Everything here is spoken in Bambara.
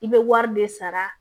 I bɛ wari de sara